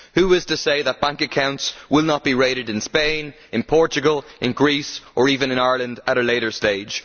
Who is to say that bank accounts will not be raided in Spain, Portugal, Greece or even Ireland at a later stage?